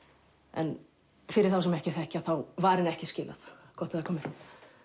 en fyrir þá sem ekki þekkja þá var henni ekki skilað gott að það komi fram